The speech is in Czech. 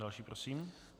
Další prosím.